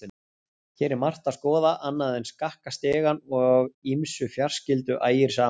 Hér er margt að skoða annað en skakka stigann og ýmsu fjarskyldu ægir saman.